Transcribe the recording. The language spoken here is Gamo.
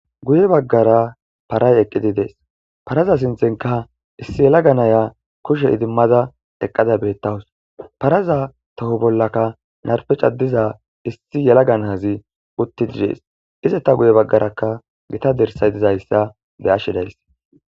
Guye baggara paray eqqidi dees paraza sinthenka issi yelaganaya kushe idimmada eqqada beettawus paraza toho bollaka narpe cadiza issi yelagan hazi utti didees ize ta guye baggarakka gita dirsay dizayssa be ashshedays